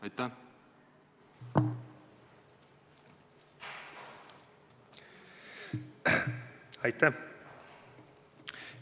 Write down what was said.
Aitäh!